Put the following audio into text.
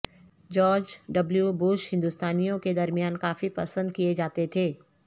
George W Bush ہندوستانیوں کے درمیان کافی پسند کیے جاتے تھے